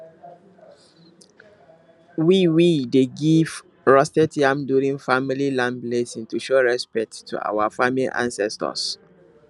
we we dey give roasted yam during family land blessing to show respect to our farming ancestors